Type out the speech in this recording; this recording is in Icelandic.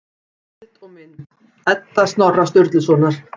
Heimildir og mynd: Edda Snorra Sturlusonar.